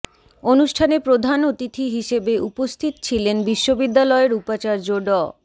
অনুষ্ঠানে প্রধান অতিথি হিসেবে উপস্থিত ছিলেন বিশ্ববিদ্যালয়ের উপাচার্য ড